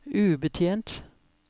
ubetjent